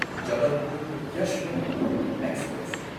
Jabalpur Yesvantpur express